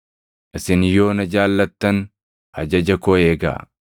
“Isin yoo na jaallattan ajaja koo eegaa.